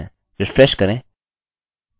refresh करें